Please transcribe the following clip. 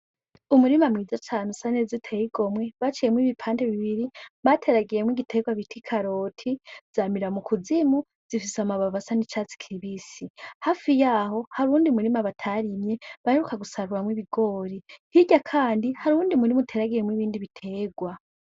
Umurima mwiza cane usa neza uteye igomwe, baciyemwo ibipande bibiri bateragiyemwo igiterwa bita ikaroti ziramera mu kuzimu, zifise amababi asa n'icatsi kibisi. Hafi yaho hari uwundi murima batarimye, baheruka gusaruramwo ibigori, hirya kandi hari uwundi uteragiyemwo ibindi biterwa.